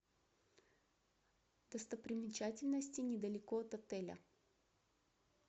достопримечательности недалеко от отеля